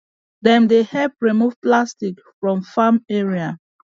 dem dey help remove plastic from farm area